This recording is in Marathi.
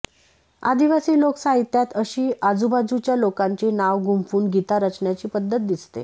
आदिवासी लोकसाहित्यात अशी आजुबाजुच्या लोकांची नाव गुंफ़ुन गीता रचण्याची पद्धत दिसते